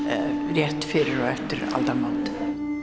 rétt fyrir aldamót